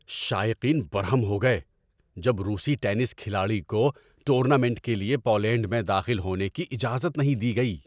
شائقین برہم ہو گئے جب روسی ٹینس کھلاڑی کو ٹورنامنٹ کے لیے پولینڈ میں داخل ہونے کی اجازت نہیں دی گئی۔